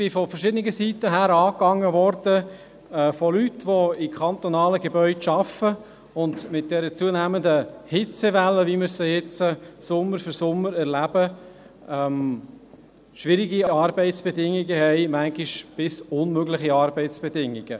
– Ich bin von verschiedenen Seiten angegangen worden, von Leuten die in kantonalen Gebäuden arbeiten, die mit den zunehmenden Hitzewellen, wie wir sie nun Sommer für Sommer erleben, schwierige Arbeitsbedingungen haben, manchmal bis unmögliche Arbeitsbedingungen.